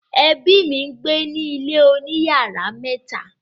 ẹbi mí ngbẹ ní ilè òní iyàrá mẹta